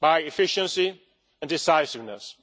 through efficiency and decisiveness.